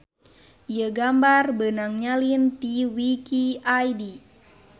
Ieu gambar beunang nyalin ti wiki id.